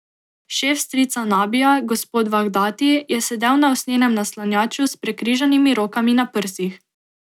Šef strica Nabija, gospod Vahdati, je sedel na usnjenem naslanjaču s prekrižanimi rokami na prsih.